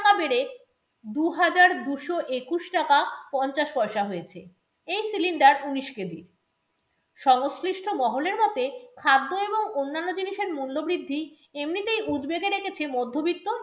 তা বেড়ে দুহাজার দুশো একুশ টাকা পঞ্চাশ পয়সা হয়েছে, এই cylinder উনিশ কেজি সংশ্লিষ্ট মহলের মতে, খাদ্য এবং অনান্য জিনিসের মূল্য বৃদ্ধি এমনিতেই উদ্বেগে রেখেছে মধবিত্ত